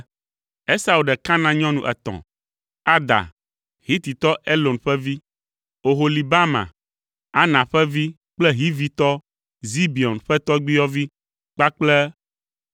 Esau ɖe Kanaan nyɔnu etɔ̃: Ada, Hititɔ Elon ƒe vi, Oholibama, Ana ƒe vi kple Hivitɔ Zibeon ƒe tɔgbuiyɔvi kpakple